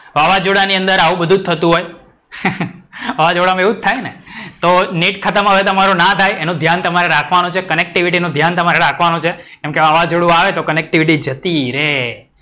વાવાજોડા ની અંદર આવું જ બધુ થતું હોઇ. વાવાજોડામાં એવું જ થાય ને? તો નેટ ખત્મ હવે તમારું ના થાય એનું ધ્યાન તમારે રાખવાનું છે, connectivity નું ધ્યાન તમારે રાખવાનું છે. કેમકે વાવાજોડું આવે તો connectivity જતી રે.